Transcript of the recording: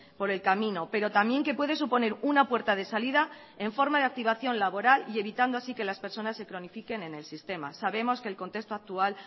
por el camino pero también que puede suponer una puerta de salida en forma de activación laboral y evitando así que las personas se cronifiquen en el sistema sabemos que el contexto actual